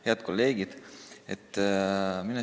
Head kolleegid!